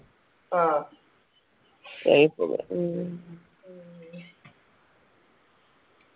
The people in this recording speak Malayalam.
ആഹ് ഉം